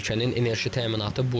Ölkənin enerji təminatı burdan.